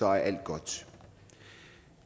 er alt godt